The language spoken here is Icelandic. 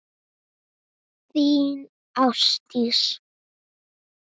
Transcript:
Þín, Ásdís.